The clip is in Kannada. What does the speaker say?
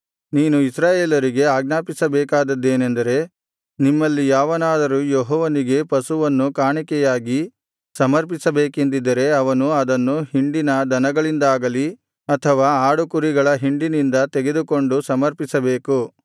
ನೀನು ಇಸ್ರಾಯೇಲರಿಗೆ ಆಜ್ಞಾಪಿಸಬೇಕಾದದ್ದೇನೆಂದರೆ ನಿಮ್ಮಲ್ಲಿ ಯಾವನಾದರೂ ಯೆಹೋವನಿಗೆ ಪಶುವನ್ನು ಕಾಣಿಕೆಯಾಗಿ ಸಮರ್ಪಿಸಬೇಕೆಂದಿದ್ದರೆ ಅವನು ಅದನ್ನು ಹಿಂಡಿನ ದನಗಳಿಂದಾಗಲಿ ಅಥವಾ ಆಡುಕುರಿಗಳ ಹಿಂಡಿನಿಂದ ತೆಗೆದುಕೊಂಡು ಸಮರ್ಪಿಸಬೇಕು